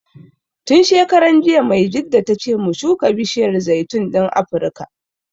Tun shekaran jiya Maijjida ta ce mu shuka bishiyar zaitun ɗin Afrika